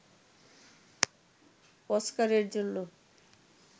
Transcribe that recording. অস্কারের জন্য